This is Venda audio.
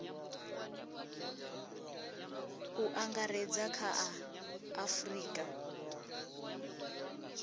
u angaredza kha a afurika